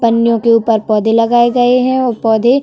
पन्नियों के ऊपर पौधे लगाए गए हैं औ पौधे --